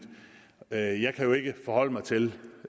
jeg jeg kan jo ikke forholde mig til